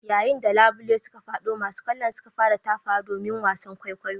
Yayin da labule suka fado masu kallo suka fara tafawa domin wasan kwaikwayo.